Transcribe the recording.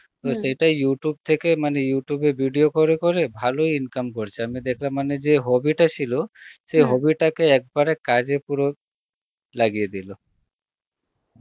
সেটা Youtube থেকে মানে Youtube এ video করে করে ভালই income করছে আমি দেখলাম মানে যে hobby টা ছিল hobby টা কে একবারে কাজ এ পুরো, লাগিয়ে দিল